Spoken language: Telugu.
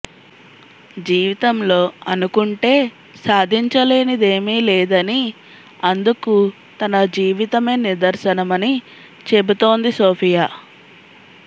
జీవితంలో అనుకుంటే సాధించలేనిదేమీ లేదని అందుకు తన జీవితమే నిదర్శనమని చెబుతోంది సోఫియా